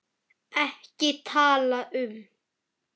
EKKI TALA UM